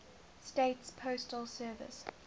states postal service